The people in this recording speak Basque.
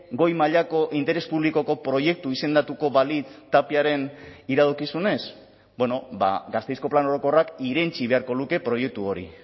goi mailako interes publikoko proiektu izendatuko balitz tapiaren iradokizunez gasteizko plan orokorrak irentsi beharko luke proiektu hori